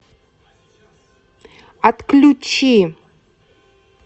отключи